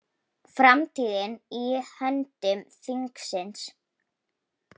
Framtíðin í höndum þingsins